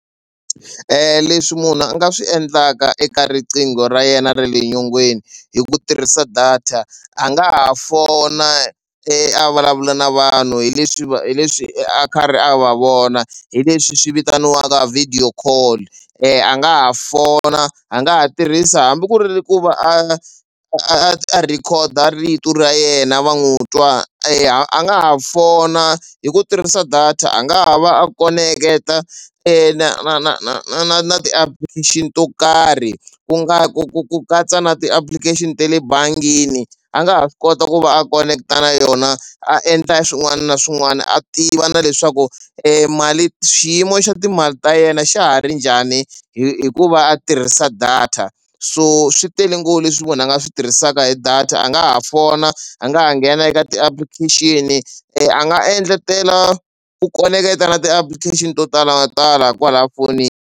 Leswi munhu a nga swi endlaka eka riqingho ra yena ra le nyongeni hi ku tirhisa data a nga ha fona a vulavula na vanhu hi leswi va hi leswi a karhi a va vona hi leswi swi vitaniwaka video call. A nga ha fona a nga ha tirhisa hambi ku ri ku va a a record-a rito ra yena va n'wi twa. A nga ha fona hi ku tirhisa data a nga ha va a koneketa na na na na na na na ti-application to karhi ku nga ku ku ku katsa na ti-application ta le bangini a nga ha swi kota ku va a koneketa na yona a endla swin'wana na swin'wana a tiva na leswaku mali xiyimo xa timali ta yena xa ha ri njhani hikuva a tirhisa data so swi tele ngopfu leswi munhu a nga swi tirhisaka hi data a nga ha fona a nga ha nghena eka ti-application a nga endletela ku koneketa na ti-application to talatala kwalaya fonini.